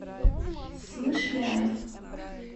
смышляев